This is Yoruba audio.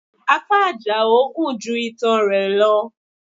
Apá Àjàó gun ju itan rẹ lọ